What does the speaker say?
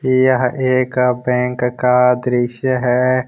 यह एक बैंक का दृश्य है।